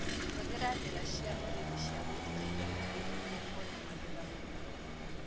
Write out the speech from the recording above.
Hũthĩra njĩra cia ũrĩmi wa gũitĩrĩria maĩ nĩguo kuona magetha maingĩ.